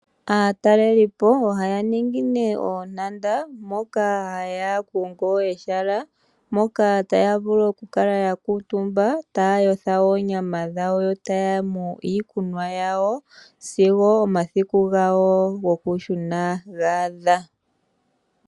Aatalelipo ohaya ningi nee oontanda moka haya kongo ehala mpoka taya vulu okukala ya kuutumba taayotha oonyama dhawo yotaanu iikunwa yawo sigo omasiki gawo gokushuna gaadha.